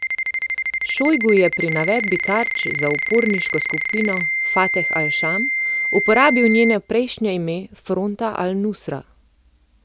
Šojgu je pri navedbi tarč za uporniško skupino Fateh Al Šam uporabil njeno prejšnje ime Fronta Al Nusra.